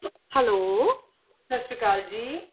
Hello ਸਤਿ ਸ੍ਰੀ ਅਕਾਲ ਜੀ